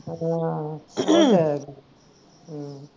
ਹਾਂ